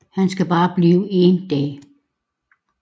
Han skal bare blive én dag